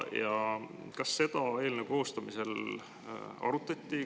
Kas seda eelnõu koostamisel arutati?